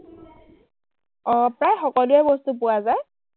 অ, প্ৰায় সকলোৱেই বস্তু পোৱা যায়,